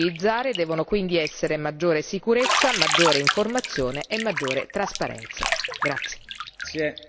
Le parole chiave da utilizzare devono quindi essere maggiore sicurezza, maggiore informazione e maggiore trasparenza.